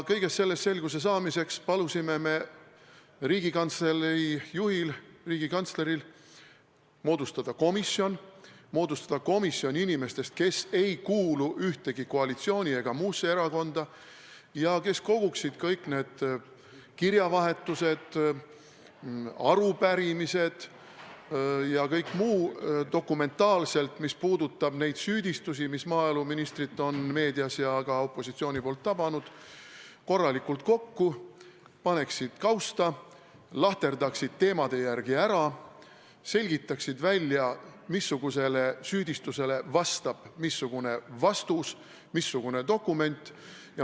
Kõiges selles selguse saamiseks palusime me Riigikantslei juhil, riigikantsleril moodustada komisjoni inimestest, kes ei kuulu ühtegi koalisatsiooni- ega muusse erakonda ja kes koguksid kõik need kirjavahetused, arupärimised ja kõik muu dokumentaalselt, mis puudutab neid süüdistusi, mis maaeluministrit on meedias ja ka opositsiooni poolt tabanud, korralikult kokku, paneksid kausta, lahterdaksid teemade järgi ära, selgitaksid välja, missugusele süüdistusele vastab missugune vastus, missugune dokument.